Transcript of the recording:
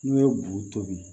N'o ye buru tobi